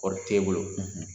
Kɔɔri t'e bolo,